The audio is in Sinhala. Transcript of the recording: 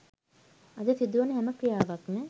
අද සිදුවන හැම ක්‍රියාවක්ම